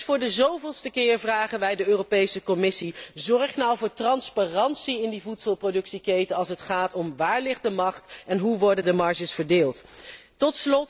Dus voor de zoveelste keer vragen wij de Europese Commissie zorg voor transparantie in die voedselproductieketen, als het gaat om waar de macht ligt en hoe de marges verdeeld worden.